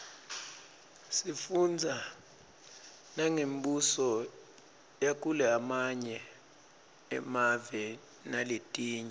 sifundza nangembuso yakulamanye emave naletinye